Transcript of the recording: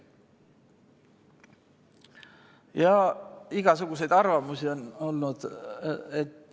Ja igasuguseid arvamusi on olnud.